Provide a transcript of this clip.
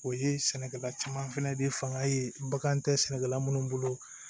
O ye sɛnɛkɛla caman fɛnɛ de fanga ye bagan tɛ sɛnɛkɛla minnu bolo